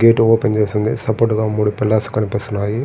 Gate open చేసి ఉంది. Support గా మూడు పిల్లర్లు కనిపిస్తున్నాయి.